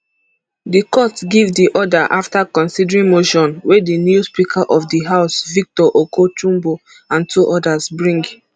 di court give di order afta considering motion wey di new speaker of di house victor oko jumbo and two odas bring